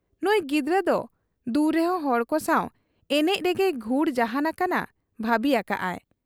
ᱱᱩᱸᱭ ᱜᱤᱫᱟᱹᱨ ᱫᱚ ᱫᱩᱨᱮᱦᱚᱸ ᱦᱚᱲᱠᱚ ᱥᱟᱶ ᱮᱱᱮᱡ ᱨᱮᱜᱮᱭ ᱜᱷᱩᱲ ᱡᱟᱦᱟᱸᱱ ᱟᱠᱟᱱᱟ ᱵᱷᱟᱹᱵᱤ ᱟᱠᱟᱜ ᱟᱭ ᱾